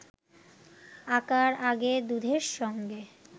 আঁকার আগে দুধের সঙ্গে